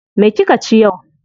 Me kika ci yau?